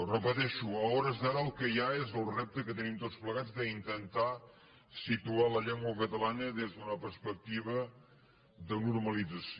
ho repeteixo a hores d’ara el que hi ha és el repte que tenim tots plegats d’intentar situar la llengua catalana des d’una perspectiva de normalització